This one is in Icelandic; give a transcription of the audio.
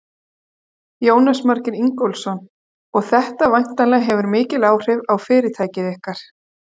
Jónas Margeir Ingólfsson: Og þetta væntanlega hefur mikil áhrif á fyrirtækið ykkar?